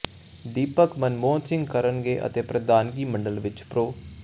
ਦੀਪਕ ਮਨਮੋਹਨ ਸਿੰਘ ਕਰਨਗੇ ਅਤੇ ਪ੍ਰਧਾਨਗੀ ਮੰਡਲ ਵਿਚ ਪ੍ਰੋ